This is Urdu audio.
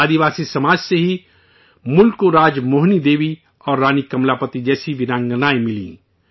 آدیواسی سماج سے ہی ملک کو راج موہنی دیوی اور رانی کملا پتی جیسی بہادر خواتین ملیں